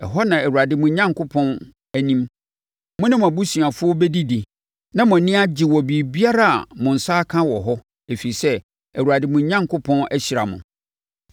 Ɛhɔ na Awurade mo Onyankopɔn anim, mo ne mo abusuafoɔ bɛdidi na mo ani agye wɔ biribiara a mo nsa aka wɔ hɔ, ɛfiri sɛ, Awurade, mo Onyankopɔn, ahyira mo.